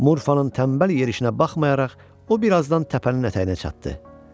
Murfanın tənbəl yerişinə baxmayaraq, o bir azdan təpənin ətəyinə çatdı.